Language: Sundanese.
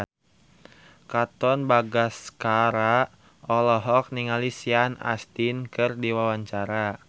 Katon Bagaskara olohok ningali Sean Astin keur diwawancara